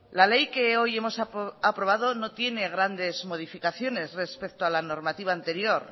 la ley que hoy hemos aprobado no tiene grandes modificaciones respecto a la normativa anterior